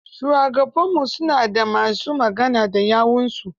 Shugabanni su na da ma su magana da yawunsu.